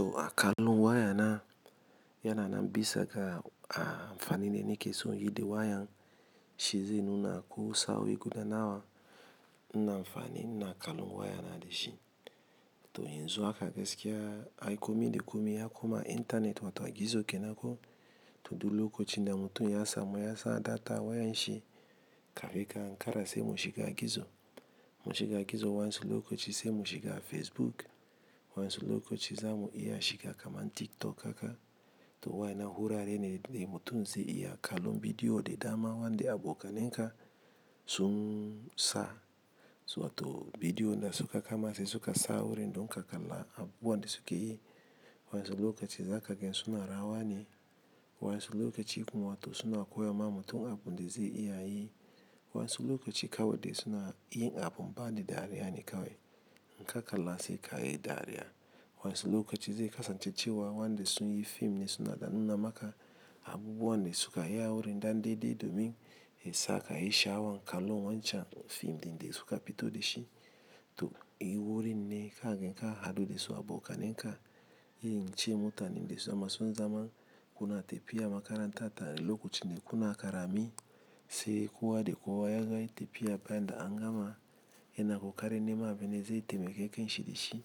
To a kalon waya na yananan bisaga a amfani ni ne ni ke so yi da wayan shi ze nuna ko sa'o 'i guda nawa ina amfani ina kalon waya na da shi. To yanzu haka gaskiya, ai komi de komi ya koma Internet wato a gizo kenan ko, to du lokocin da mutun ya samu yasa data wayan shi kafin ka ankara se mu shiga gizo. Mu shiga gizo wansu lokaci se mu shiga Facebook, wansu lokaci za mu iya shiga kaman TikTok haka. To wayanan hurare ne de mutun ze iya kalon bidiyo de dama wande abokanen ka sun sa. Suwato bidiyo da suka kama se suka sa wurin don ka kalla abubuwan da suke yi. Wansu lokaci zakaga suna rawa ne, wansu lokaci kuma wato suna koya ma mutun abun da ze iya yi, wansu lokaci kawai dai suna yin abun bani dariya ne kawai. Inka kalla sai kayi dariya. Wansu lokaci zai kasance cewa wanda sun yi fim ne suna danuna maka abubuwan da sukayi awurin dan dai dai domin yesa kayi sha'awan kallon wance fim din desuka fito dashi to, in wurin ne kage ka hadu da su abokanen ka, yi ince mutanen dasama sun zama. Kuna tepiya makaranta tare lokacin da kuna karami se kowa dekowa yazo yayi tepiya bayan da angama yana kokarin nema abine ze taimake kai shi da shi.